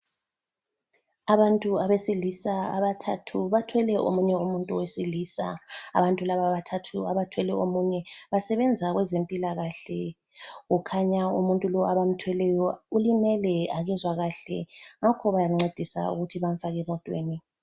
Abantu abesilisa abathathu bathwele omunye umuntu wesilisa abantu laba bathathu abathwele omunye basebenza kwezempilakahle. Kukhanya umuntu lowu abamthweleyo ulimele akezwakahle ngakho bayamncedisa ukuthi bamfake emotweni.